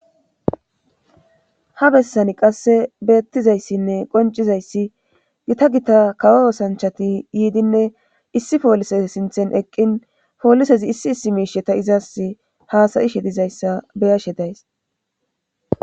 ha bessani qasse beettizayssinne qoncizayssi gita gita kawo osanchati yiidinne issi poolise sinthen eqqin poolisezi issi issi miishe ta izaas haasayishe dizayssa beyashe days